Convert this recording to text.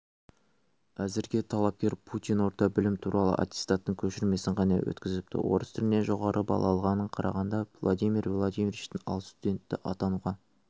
әзірге талапкер путин орта білімі туралы аттестаттың көшірмесін ғана өткізіпті орыс тілінен жоғары балл алғанына қарағанда владимир владимировичтің ал студенті атануға